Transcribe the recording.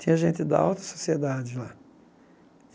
Tinha gente da alta sociedade lá.